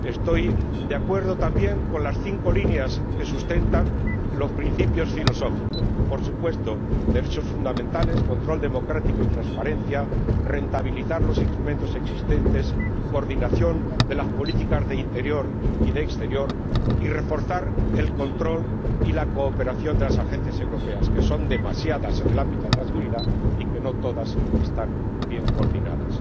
Estoy de acuerdo también con las cinco líneas que sustentan los principios filosóficos, por supuesto derechos fundamentales, control democrático y transparencia, rentabilización de los instrumentos existentes, coordinación de las políticas de interior y de exterior, y refuerzo del control y la cooperación de las agencias europeas, que son demasiadas en el ámbito de la seguridad y que no todas están bien coordinadas.